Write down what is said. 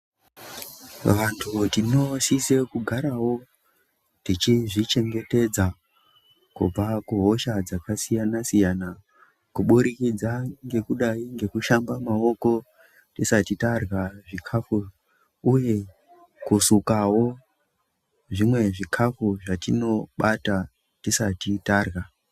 Vantu tinosisa kugarawo tichizvichengetedza kubva kuhosha dzakasiyana siyana kuburikidza ngekushamba maoko tisati tarwa zvikhafu uye kusukawo zvimwe zvikhafu zvatinobata tisati tarwa.